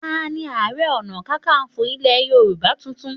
Tani Ààrẹ Ọ̀nàkakanfò ilẹ̀ Yorùbá tuntun?